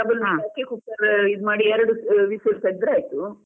ನೀರು ಹಾಕಿ cooker ಇದು ಮಾಡಿ ಎರಡು whistle ತೆಗ್ದ್ರೆ ಆಯ್ತು.